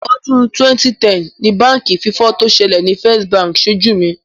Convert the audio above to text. Ọdún 2010 ni báǹkì fífọ́ tó ṣẹlẹ̀ ni First Bank ṣojú mi.